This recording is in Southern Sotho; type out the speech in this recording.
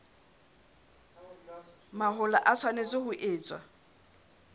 mahola e tshwanetse ho etswa